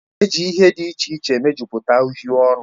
Eji ihe dị iche iche mejupụta uhiè ọnụ